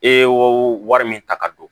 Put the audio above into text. E y'o wari min ta ka don